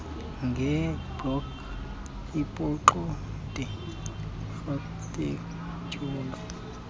ngebloki ebuxande rektendyula